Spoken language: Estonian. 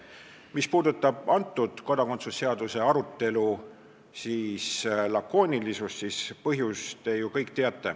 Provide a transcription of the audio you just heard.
Mis puudutab kodakondsuse seaduse arutelu lakoonilisust, siis põhjust te ju kõik teate.